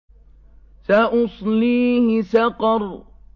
سَأُصْلِيهِ سَقَرَ